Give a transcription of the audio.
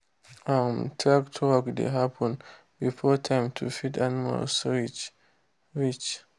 um tractor work dey happen before time to feed animals reach. reach.